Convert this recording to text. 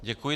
Děkuji.